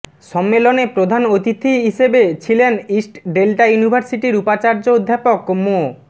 সম্মেলনে প্রধান অতিথি অতিথি হিসেবে ছিলেন ইস্ট ডেল্টা ইউনির্ভাসিটির উপাচার্য অধ্যাপক মো